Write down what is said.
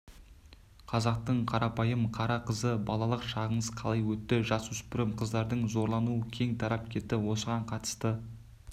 қазақтың қарапайым қара қызы балалық шағыңыз қалай өтті жасөспірім қыздардың зорлануы кең тарап кетті осыған қатысты